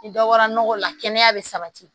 Ni dɔ bɔra nɔgɔ la kɛnɛya be sabati